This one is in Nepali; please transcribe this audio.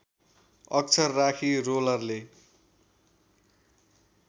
अक्षर राखी रोलरले